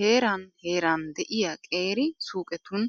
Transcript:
Heeran heeran de'iya qeera suuqetun